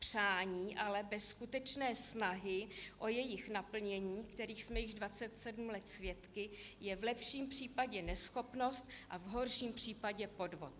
Přání ale bez skutečné snahy o jejich naplnění, kterých jsme již 27 let svědky, je v lepším případě neschopnost a v horším případě podvod.